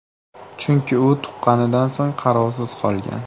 Chunki u tuqqanidan so‘ng qarovsiz qolgan.